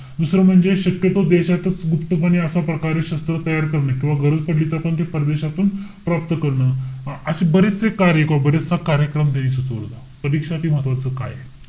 दुसरं म्हणजे शक्यतो देशातच गुप्तपणे असा प्रकारे शस्त्र तयार करणे किंवा गरज पडली तर आपण ते परदेशातून प्राप्त करणं. अशे बरेचशे कार्य किंवा बराचसा कार्यक्रम यांनी सुचवला होता. परीक्षेसाठी महत्वाचं काय आहे?